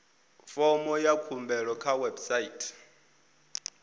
fomo ya khumbelo kha website